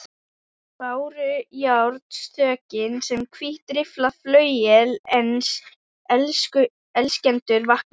Bárujárnsþökin sem hvítt rifflað flauel uns elskendur vakna